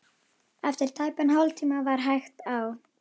Eftir tæpan hálftíma var hægt á.